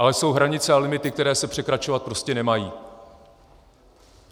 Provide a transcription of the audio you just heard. Ale jsou hranice a limity, které se překračovat prostě nemají.